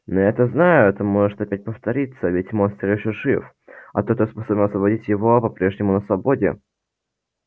но я то знаю это может опять повториться ведь монстр ещё жив а тот кто способен освободить его по прежнему на свободе